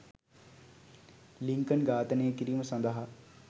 Lincoln ඝාතනය කිරීම සඳහා